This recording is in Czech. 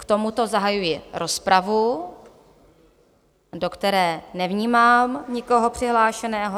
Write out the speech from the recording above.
K tomuto zahajuji rozpravu, do které nevnímám nikoho přihlášeného.